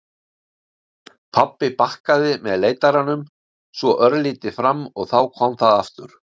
Pabbi bakkaði með leitaranum, svo örlítið fram og þá kom það aftur.